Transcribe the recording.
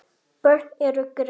Börn eru grimm.